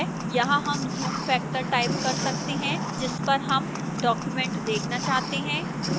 यहां हम zoom factor type कर सकते हैं जिस पर हम document देखना चाहते हैं